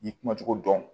N'i kumacogo dɔn